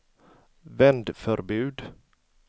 vändförbud